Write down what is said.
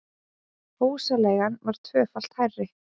Húsaleigan var tvöfalt hærri